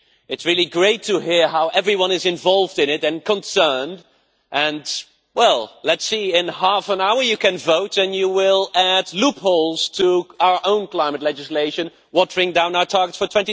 It is really great to hear how everyone is involved in it and concerned and, well, let us see, in half an hour you can vote and you will add loopholes to our own climate legislation watering down our targets for